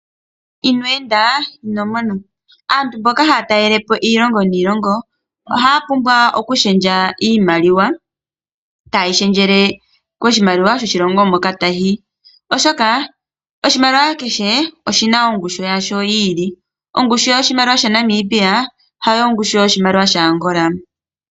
Inwe enda ino mona. Aantu mboka haya talelepo iilonga niilonga oha ya pumbwa oku shendja iimaliwa, ta yi shendjele koshimaliwa shoshilongo moka taya yi. Oshoka oshimaliwa kehe oshina ongushu yasho yili. Ongushu yoshimaliwa shaNamibia hayo ongushu yoshimaliwa shaAngola.